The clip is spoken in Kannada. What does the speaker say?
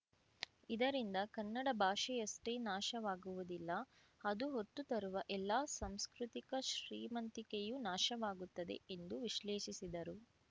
ಇದರಿಂದ ಕನ್ನಡ ಭಾಷೆಯಷ್ಟೇ ನಾಶವಾಗುವುದಿಲ್ಲ ಅದು ಹೊತ್ತು ತರುವ ಎಲ್ಲಾ ಸಂಸ್ಕೃತಿಕ ಶ್ರೀ ಮಂತಿಕೆಯೂ ನಾಶವಾಗುತ್ತದೆ ಎಂದು ವಿಶ್ಲೇಷಿಸಿದರು